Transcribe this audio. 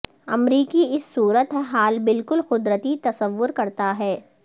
امریکی اس صورت حال بالکل قدرتی تصور کرتا ہے